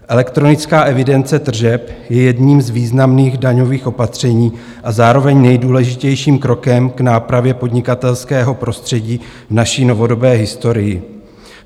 Elektronická evidence tržeb je jedním z významných daňových opatření a zároveň nejdůležitějším krokem k nápravě podnikatelského prostředí v naší novodobé historii.